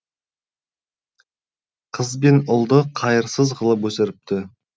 қыз бен ұлды қайырсыз қылып өсіріпті